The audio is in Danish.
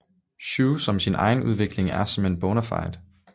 Schue om sin egen udvikling er som en Bonafide